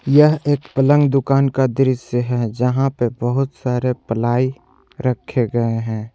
यह एक पलंग दुकान का दृश्य है जहाँ पे बहुत सारे प्लाई रखे गए हैं।